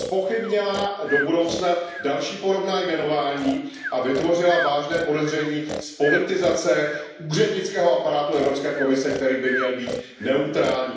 Zpochybnila do budoucna další podobná jmenování a vytvořila vážné podezření z politizace úřednického aparátu Evropské komise, který by měl být neutrální.